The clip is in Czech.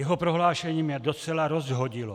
Jeho prohlášení mě docela rozhodilo.